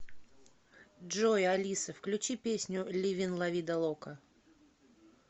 джой алиса включи песню ливин ла ви далока